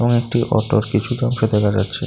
একটি অটোর কিছুটা অংশ দেখা যাচ্ছে।